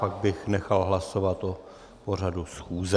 Pak bych nechal hlasovat o pořadu schůze.